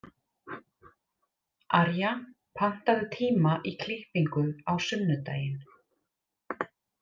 Arja, pantaðu tíma í klippingu á sunnudaginn.